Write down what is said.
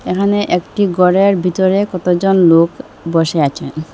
এখানে একটি গরের ভিতরে কতজন লোক বসে আছেন।